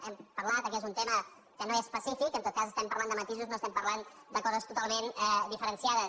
hem parlat que és un tema que no és pacífic en tot cas estem parlant de matisos no estem parlant de coses totalment diferenciades